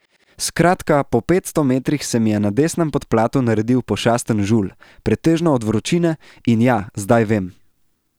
Skratka po petsto metrih se mi je na desnem podplatu naredil pošasten žulj, pretežno od vročine, in ja zdej vem.